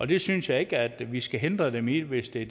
det synes jeg ikke at vi skal hindre dem i hvis det